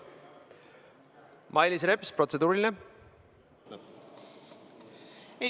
Mailis Repsil on protseduuriline küsimus.